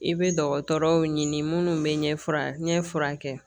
I bɛ dɔgɔtɔrɔw ɲini minnu bɛ ɲɛfura ɲɛ furakɛ